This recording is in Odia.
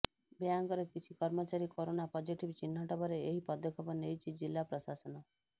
ବ୍ୟାଙ୍କର କିଛି କର୍ମଚାରୀ କରୋନା ପଜିଟିଭ୍ ଚିହ୍ନଟ ପରେ ଏହି ପଦକ୍ଷେପ ନେଇଛି ଜିଲ୍ଲା ପ୍ରଶାସନ